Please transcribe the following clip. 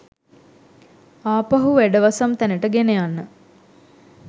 ආපහු වැඩවසම් තැනට ගෙනයන්න.